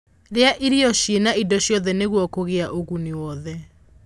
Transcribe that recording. rĩa irio ciĩna indo ciothe nĩguo kugia ũguni wothe